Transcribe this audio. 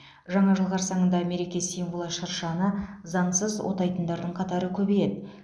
жаңа жыл қарсаңында мереке символы шыршаны заңсыз отайтындардың қатары көбейеді